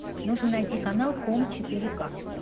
нужно найти канал хоум четыре к